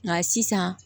Nka sisan